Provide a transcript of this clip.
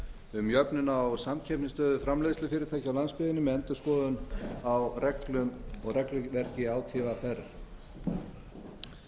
um jöfnun á samkeppnisstöðu framleiðslufyrirtækja á landsbyggðinni með endurskoðun á reglum og regluverki átvr